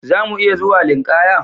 Zamu iya zuwa linkaya?